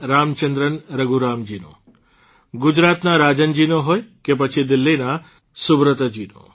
રામચંદ્રન રઘુરામજીનો ગુજરાતના રાજનજીનો હોય કે પછી દિલ્હીના સુબ્રતજીનો